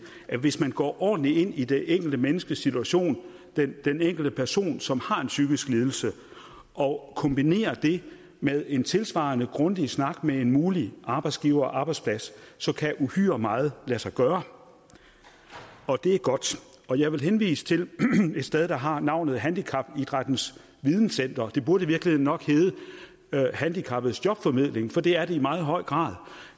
at hvis man går ordentligt ind i det enkelte menneskes situation den enkelte person som har en psykisk lidelse og kombinerer det med en tilsvarende grundig snak med en mulig arbejdsgiver og arbejdsplads så kan uhyre meget lade sig gøre og det er godt jeg vil henvise til et sted der har navnet handicapidrættens videnscenter det burde i virkeligheden nok hedde handicappedes jobformidling for det er det i meget høj grad